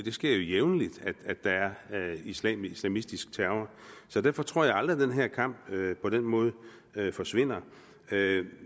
sker jo jævnligt at der er islamistisk terror så derfor tror jeg aldrig at den her kamp på den måde forsvinder